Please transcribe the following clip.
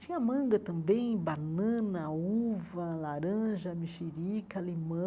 Tinha manga também, banana, uva, laranja, mexerica, limão,